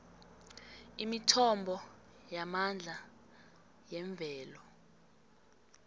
imithombo yamandla yemvelo